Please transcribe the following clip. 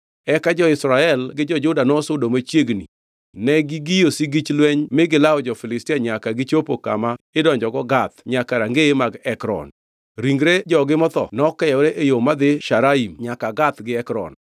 Eka jo-Israel gi jo-Juda nosudo machiegni negigiyo sigich lweny mi gilawo jo-Filistia nyaka gichopi kama idonjogo Gath nyaka rangeye mag Ekron. Ringre jogi motho nokeyore e yo madhi Sharaim nyaka Gath gi Ekron.